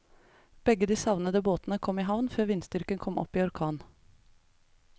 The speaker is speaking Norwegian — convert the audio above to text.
Begge de savnede båtene kom i havn før vindstyrken kom opp i orkan.